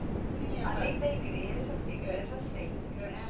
Além da igreja, porque igreja é sempre, né?